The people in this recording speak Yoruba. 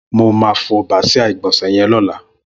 Mó mà fọ bàsiá igbònsẹ̀ yèn lọ̀lá